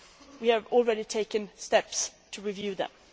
We have already taken steps to review them.